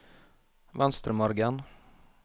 Venstremargen